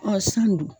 Ɔ san don